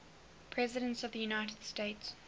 presidents of the united states